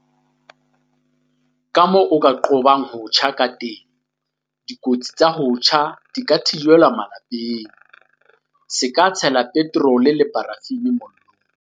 Kamoo o ka qobang ho tjha kateng Dikotsi tsa ho tjha di ka thibelwa ka lapeng. Se ka tshela petrole le parafini mollong.